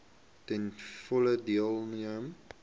ten volle deelneem